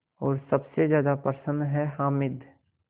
और सबसे ज़्यादा प्रसन्न है हामिद